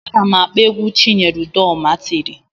Ana m akpọ egwu Chinyere udoma tiri